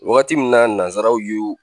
Wagati min na nanzaraw ye o